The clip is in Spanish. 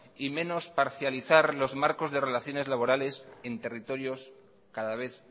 y menos parcializar los marcos de relaciones laborales en territorios cada vez